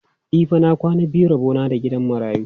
E fa, na kwana biyu rabo na da gidan marayu.